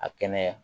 A kɛnɛya